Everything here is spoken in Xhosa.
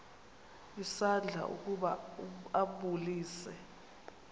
isandla ukuba ambulise